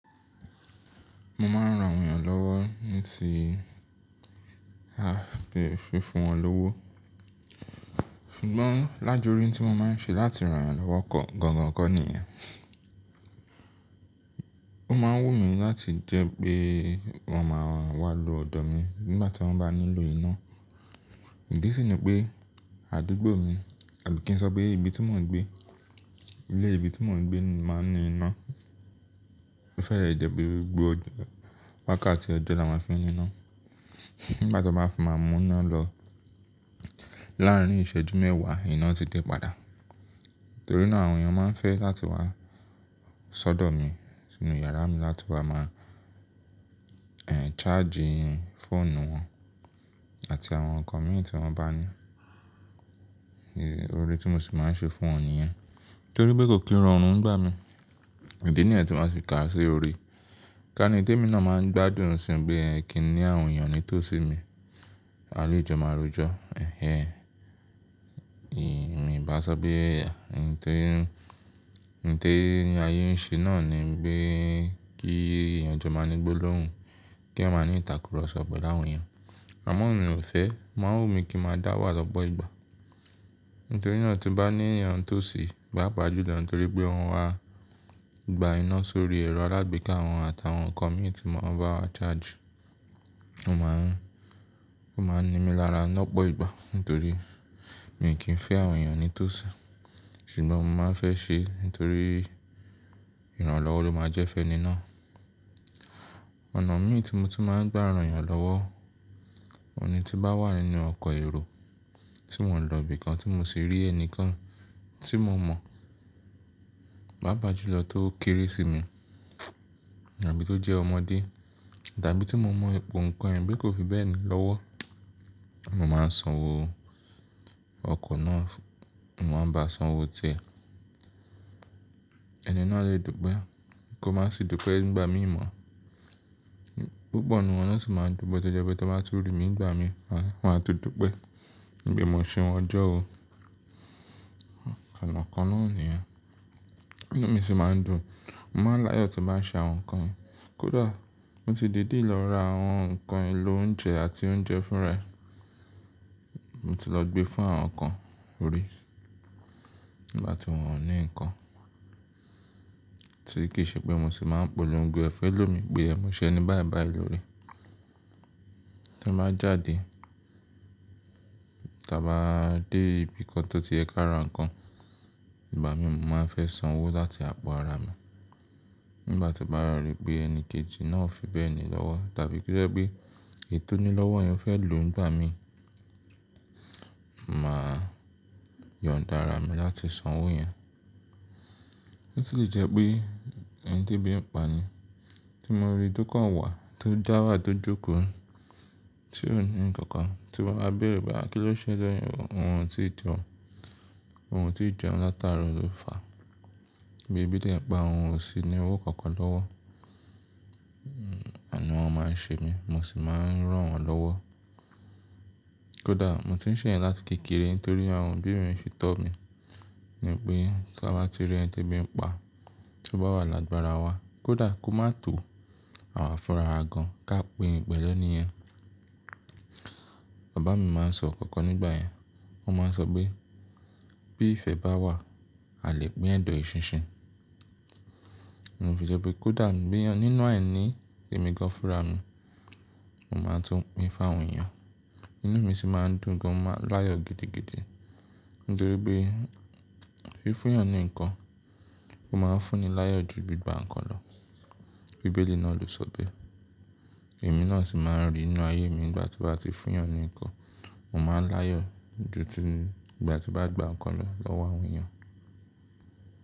Mo máa ń ran àwọn èèyàn lọ́wọ́ ní ti fi fún wọn lówó. Ṣùgbọ́n lájúrin tí mo máa ń ṣe láti ran èèyàn lọ́wọ́ kọ, gan-an kọ ni iyen. O máa ń wù mí láti jẹ́ pé wọ́n máa wá lo ọ̀dọ̀ mi nígbà tí wọ́n bá nílò iná. Ìdí sì ni pé àdúgbò mi àbí kí n sọ pé ibi tí mò ń gbé, ilé ibi tí mò ń gbé máa ń ní iná. Ó fẹ́rẹ̀ẹ́ jepe gbogbo ọjọ́, wákàtí ọjọ́ la máa fi ń ní iná. Nígbà tí wan bá fi máa mú iná lọ láàárín ìṣẹ́jú mẹ́wàá, iná ti dé padà. Nítorí náà àwọn èèyàn máa ń fẹ́ láti wá ṣọ́dọ̀ mi sínú yàrá mi láti wa máa, eh, charge fóònù wọn àti àwọn nǹkan mìíràn tí wọ́n bá ní. Òre tí mo sì máa ń ṣe fún wọn ni ẹ. Nítorí pé kò kí n ranrun nigba mi, ìdí nìyẹn tí màá fi ká sí orí. Ká ní ihun ti emi náà máa ń gbádùn sí i pé kí i ní àwọn èèyàn ní tó sí mi. A lé jọ máa rojọ́. Ẹ̀hẹ̀n. Mi ò bá sọ pé, nitorí, nitorí n ayé ń ṣe náà ni pé kí eyàn jọ máa ní gbólóhùn, kí eyan máa ní ìtàkùrọ̀sọ pẹ̀lú àwọn èèyàn. Àmọ́ emi ò fẹ́, o máa ń wù mí kí n máa dá wà lọ́pọ̀ ìgbà. Nítorí náà tí n bá ní èèyàn nitósì pápàjù lọ, nítorí pé won wá gba iná sórí ẹ̀rọ alágbèéká wọn àti àwọn nǹkan mìíràn tí wọ́n bá wá charge, ó máa ń, ó máa ń ní mi lára lọ́pọ̀ ìgbà. Nítorí mi kì í fẹ́ àwọn èèyàn ní tó sì, ṣùgbọ́n mo máa ń fẹ́ ṣe, nítorí ìrànlọ́wọ́ ló máa jẹ́ fẹ́ni ná. Ọ̀nà mí tí mo tun máa ń gba ran èèyàn lọ́wọ́, ohun ni tí n bá wà nínú ọkọ̀ èrò tí mò ń lọ ibìkan tí mo sì rí ẹni kan tí mo mọ̀, papà jùlọ tó kéré sí mi tàbí tó jẹ́ ọmọdé tàbí tí mo mọ̀ ipò ǹnkan ẹ bí kò fi bẹ́ẹ̀ ni lọ́wọ́, mo máa ń sanwó ọkọ̀ náà fún, mo máa ń bá a sanwó ti ẹ. Ẹni náà lè dù pé, kó má sì dù pé nígbà mí mọ̀. Púpọ̀ nínú wọn sì máa ń dùpe to jẹ́ pé tí wọ́n bá tun rí mi nígbà mi, wọ́n á tun dùn pé mo ṣeun ọjọ́ ó. Ọ̀nà kan náà ni iyen. Ìnú mi sì máa ń dùn. Mo máa ń láyọ̀ tí bà ń ṣe àwọn nǹkan. Kódà mo ti dìde lọ ra àwọn nǹkan ìlò oúnjẹ àti oúnjẹ fún ara e. Mo ti lọ gbé fún àwọn kan orí nígbà tí wọ́n ò ní nǹkan. Ti kì í ṣe pé mo sì máa ń polongo ẹ̀fẹ́ lò mi pe e mo ṣe ení báibái lóre. Tí a bá jáde, tí a bá dé ibìkan tó ti ẹ̀ ká ra nǹkan, ìgbà mì mọ̀ máa ń fẹ́ sanwó láti àpọ̀ ara mi. Nígbà tí mo báwa rí pé ẹni kejì náà o fibe ni lọ́wọ́ tàbí kí o jẹ́ pé èyi tò nílọ́wọ́ yẹn ó fẹ́ lò nígbà mi, màá yàn dára mi láti sanwó yẹn. Ó sì lè jẹ́ pé ẹni ti ebí ń pa ni tí mo rí tó kàn wà tó jáwà tó jókòó, tí ò ní nǹkan kan, tí mo bá bẹ̀rù báa, kí ló ṣe lọ́yún, òun o ti jẹun, òun o ti jẹun látara ro lo faa. Bí èbí de n pa, òun ò sí ní owó kankan lọ́wọ́. Anu wan máa ń ṣe mi, mo sì máa ń rán wọn lọ́wọ́. Kódà mo ti ń ṣe iyen láti kékeré nítorí àwọn òbí mi fi tó mi ní pé tí a bá ti rí ẹni ti ebí ń pa, tí ó bá wà lágbára wa, kó dàá kó má tó, awa fun arawa gan ká pin pẹ̀lẹ́ níyẹn. Bàbá mi máa ń sọ inkankan nígbà yẹn, wọ́n máa ń sọ pé bí ìfẹ́ bá wà, a lè pín ẹ̀dọ̀ èṣinṣin. N ò fi jẹ́ pé kódà nì bí nǹkan nínú àìní èmi gan fúnra mi, mo máa tún pín fún àwọn èèyàn. Ìnú mi sì máa ń dùn gan, mo máa ń láyọ̀ gidi gidi nítorí pé fí fún èèyàn ní nǹkan, ó máa ń fún ni láyọ̀ ju gbi gba nǹkan lọ. Bíbélì náà ló sọ bẹ́ẹ̀. Èmi náà sì máa ń rí inú ayé mi ìgbà tí mo bá ti fún èèyàn ní nǹkan, mo máa ń láyọ̀ ju ti ìgbà tí màá gba nǹkan lọ lọ́wọ́ àwọn èèyàn.